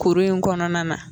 Kuru in kɔnɔna na